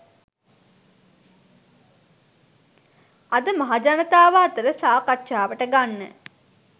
අද මහජනතාව අතර සාකච්ඡාවට ගන්න